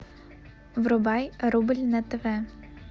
врубай рубль на тв